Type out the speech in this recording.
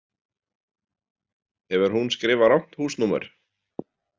Hefur hún skrifað rangt húsnúmer?